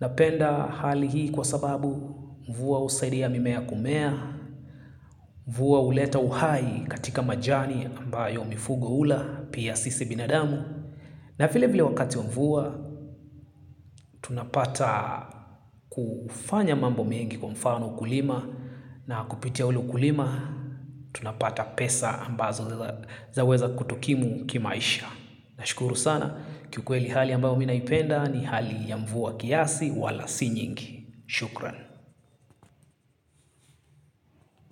Napenda hali hii kwa sababu mvua husaidia mimea kumea, mvua huleta uhai katika majani ambayo mifugo hula, pia sisi binadamu. Na vile vile wakati wa mvua, tunapata kufanya mambo mengi kwa mfano ukulima. Na kupitia ule ukulima, tunapata pesa ambazo zaweza kutokimu kimaisha. Na shukuru sana, kiukwe li hali ambayo mimi naipenda ni hali ya mvua kiasi wala si nyingi. Shukran.